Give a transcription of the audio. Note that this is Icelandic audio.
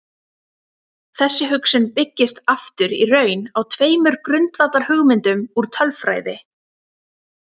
Þessi hugsun byggist aftur í raun á tveimur grundvallarhugmyndum úr tölfræði.